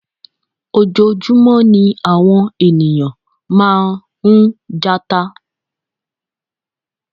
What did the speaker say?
Ojoojúmọ́ ní àwọn ènìyàn máa ń jata